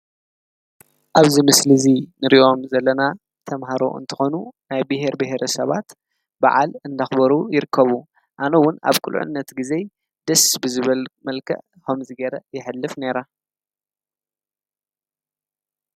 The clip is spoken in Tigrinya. ኣብዝ ምስሊ እዙይ ንርእዮም ዘለና ተምሃሮ እንተኾኑ ናይ ብሔር ብሔረ ሰባት በዓል እንዳኽበሩ ይርከቡ ኣነውን ኣብ ኲልዕነት ጊዜ ድስ ብዝበል መልከዕ ሆም ዚገይረ የኅልፍ ነይራ።